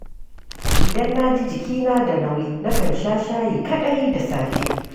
Idan na ji jikina da nauyi, na kan sha shayi kaɗai da safe.